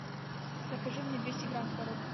закажи мне двести грамм творог